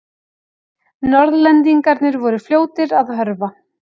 Norðlendingarnir voru fljótir að hörfa.